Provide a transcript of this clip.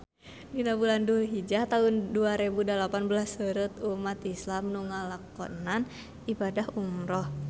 Dina bulan Dulhijah taun dua rebu dalapan belas seueur umat islam nu ngalakonan ibadah umrah